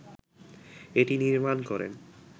এটি নির্মাণ করেন